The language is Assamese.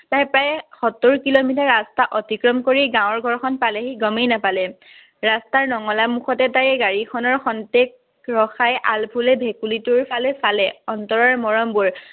তাই প্ৰায়ে সত্তৰ কিলমিটাৰ ৰাস্তা অতিক্ৰম কৰি গাঁৱৰ ঘৰখন পালেহি গমেই নাপালে। ৰাস্তাৰ নঙলা মুখতে তাই গাড়ীখনৰ খন্তেক ৰখাই আলফুলকৈ ভেকুলীটোৰফালে চালে, অন্তৰৰ মৰমবোৰ